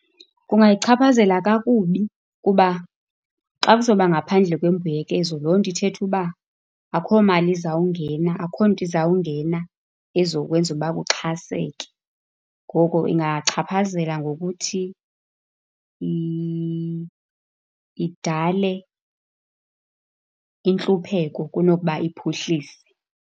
Kungayichaphazela kakubi kuba xa kuzoba ngaphandle kwembuyekezo, loo nto ithetha uba akukho mali izawungena, akukho nto izawungena ezokwenza uba kuxhaseke. Ngoko ingachaphazela ngokuthi idale intlupheko kunokuba iphuhlise.